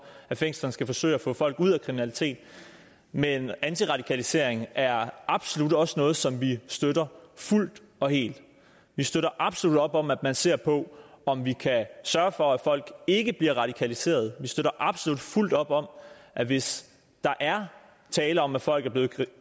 at fængslerne skal forsøge at få folk ud af kriminalitet men antiradikalisering er absolut også noget som vi støtter fuldt og helt vi støtter absolut op om at man ser på om vi kan sørge for at folk ikke bliver radikaliseret vi støtter absolut fuldt op om at hvis der er tale om at folk er blevet